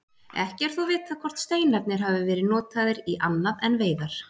Ekki er þó vitað hvort steinarnir hafi verið notaðir í annað en veiðar.